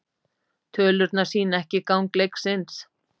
Tölurnar sýna ekki gang leiksins.